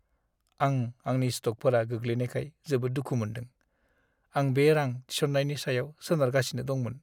आं आंनि स्टकफोरा गोग्लैनायखाय जोबोद दुखु मोनदों। आं बे रां थिसननायनि सायाव सोनारगासिनो दंमोन।